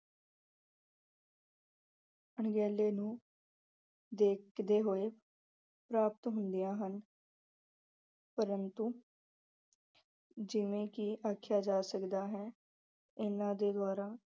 ਅਣਗਹਿਲੀਆਂ ਨੂੰ ਦੇਖ ਅਹ ਦੇ ਹੋਏ ਪ੍ਰਾਪਤ ਹੁੰਦੀਆਂ ਹਨ ਪ੍ਰੰਤੂ ਜਿਵੇਂ ਕਿ ਆਖਿਆ ਜਾ ਸਕਦਾ ਹੈ ਇਹਨਾਂ ਦੇ ਦੁਆਰਾ